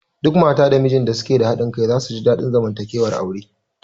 Duk mata da mijin da suke da haɗin kai za su ji daɗin zamantakewar aure